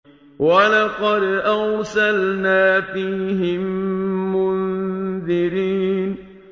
وَلَقَدْ أَرْسَلْنَا فِيهِم مُّنذِرِينَ